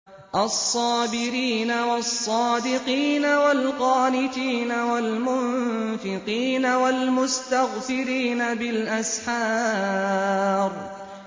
الصَّابِرِينَ وَالصَّادِقِينَ وَالْقَانِتِينَ وَالْمُنفِقِينَ وَالْمُسْتَغْفِرِينَ بِالْأَسْحَارِ